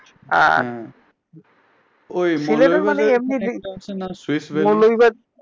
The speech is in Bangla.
আর মৌলুভিবাজার সিলেটে মানি এমনি মৌলুভিবাজার